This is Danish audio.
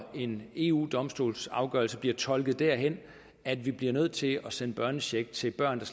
en eu domstolsafgørelse bliver tolket derhen at vi bliver nødt til at sende børnecheck til børn der